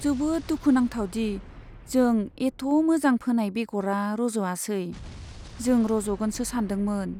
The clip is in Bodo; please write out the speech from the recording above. जोबोद दुखुनांथाव दि जों एथ' मोजां फोनाय बेगरा रज'आसै, जों रज'गोनसो सान्दोंमोन।